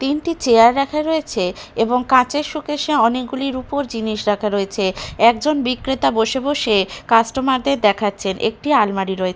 তিনটি চেয়ার রাখা রয়েছে এবং কাঁচের শোকেস -এ অনেকগুলি রুপোর জিনিস রাখা রয়েছে একজন বিক্রেতা বসে বসে কাস্টমার -দের দেখাচ্ছেন একটি আলমারি রয়ে--